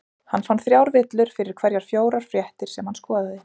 hann fann þrjár villur fyrir hverjar fjórar fréttir sem hann skoðaði